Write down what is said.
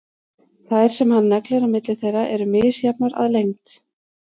Þær sem hann neglir á milli þeirra eru misjafnar að lengd.